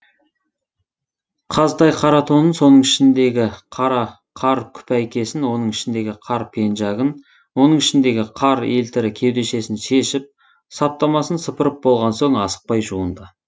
қазтай қара тонын оның ішіндегі қара қар күпәйкесін оның ішіндегі қар пенжагын оның ішіндегі қар елтірі кеудешесін шешіп саптамасын сыпырып болған соң асықпай жуынды